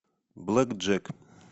блэкджек